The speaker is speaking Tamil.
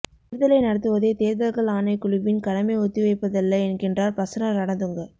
தேர்தலை நடத்துவதே தேர்தல்கள் ஆணைக்குழுவின் கடமை ஒத்திவைப்பதல்ல என்கின்றார் பிரசன்ன ரணதுங்க